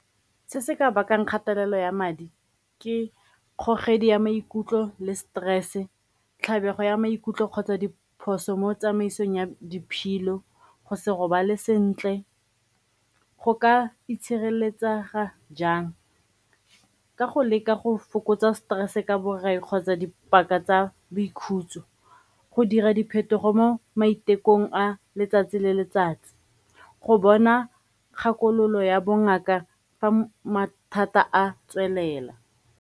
Se se ka bakang kgatelelo ya madi ke kgogedi ya maikutlo le stress, tlhabego ya maikutlo kgotsa diphoso mo tsamaisong ya diphilo, go se robale sentle. Go ka itshireletsega jang? Ka go leka go fokotsa stress ka borai kgotsa dipaka tsa boikhutso, go dira diphetogo mo maitekong a letsatsi le letsatsi, go bona kgakololo ya bongaka fa mathata a tswelela.